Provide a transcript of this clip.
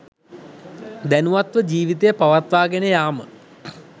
දැනුවත්ව ජීවිතය පවත්වා ගෙන යාම